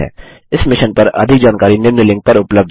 इस मिशन पर अधिक जानकारी निम्न लिंक पर उपलब्ध है